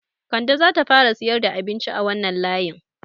Kande zata fara siyar da abinci a wanan layin